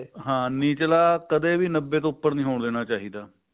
ਨਿਚਲਾ ਕਦੇ ਵੀ ਨੱਬੇ ਤੋਂ ਉੱਪਰ ਦਾ ਨੀ ਹੋਣਾ ਚਾਹੀਦਾ